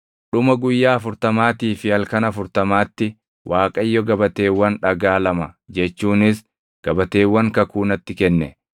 Dhuma guyyaa afurtamaatii fi halkan afurtamaatti Waaqayyo gabateewwan dhagaa lama jechuunis gabateewwan kakuu natti kenne.